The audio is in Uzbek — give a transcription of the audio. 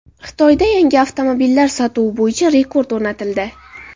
Xitoyda yangi avtomobillar sotuvi bo‘yicha rekord o‘rnatildi.